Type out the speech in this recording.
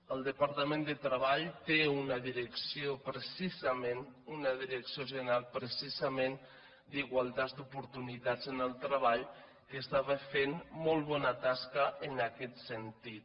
el departament de treball té una direcció general precisament d’igualtats d’oportunitats en el treball que està fent molt bona tasca en aquest sentit